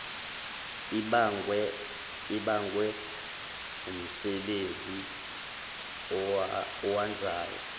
ibangwe wumsebenzi awenzayo